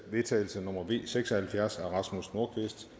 vedtagelse nummer v seks og halvfjerds af rasmus nordqvist